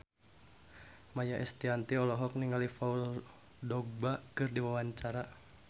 Maia Estianty olohok ningali Paul Dogba keur diwawancara